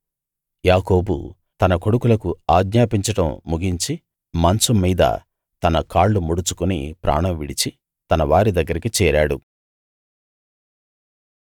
యాకోబు తన కొడుకులకు ఆజ్ఞాపించడం ముగించి మంచం మీద తన కాళ్ళు ముడుచుకుని ప్రాణం విడిచి తన వారి దగ్గరికి చేరాడు